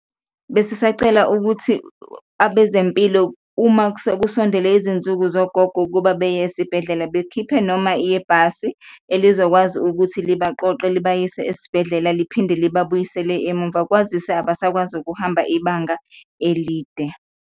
Besisacela ukuthi abezempilo uma sekusondele izinsuku zogogo ukuba beye esibhedlela, bekhiphe noma yibhasi elizokwazi ukuthi libaqoqe libayise esibhedlela, liphinde liba buyisele emuva, kwazise abasakwazi ukuhamba ibanga elide.